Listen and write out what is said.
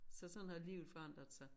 Så sådan har livet forandret sig